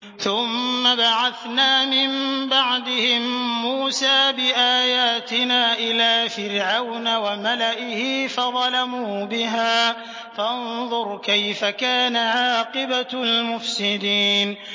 ثُمَّ بَعَثْنَا مِن بَعْدِهِم مُّوسَىٰ بِآيَاتِنَا إِلَىٰ فِرْعَوْنَ وَمَلَئِهِ فَظَلَمُوا بِهَا ۖ فَانظُرْ كَيْفَ كَانَ عَاقِبَةُ الْمُفْسِدِينَ